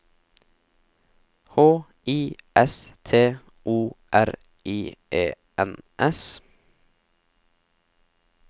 H I S T O R I E N S